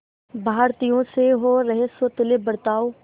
भारतीयों से हो रहे सौतेले बर्ताव